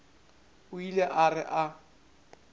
o ile a re a